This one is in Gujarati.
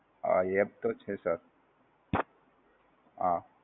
આહ, હાં એ app તો છે sir